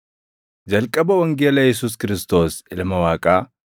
Jalqaba wangeela Yesuus Kiristoos Ilma Waaqaa.